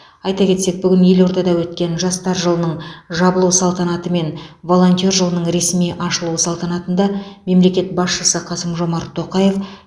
айта кетсек бүгін елордада өткен жастар жылының жабылу салтанаты мен волонтер жылының ресми ашылу салтанатында мемлекет басшысы қасым жомарт тоқаев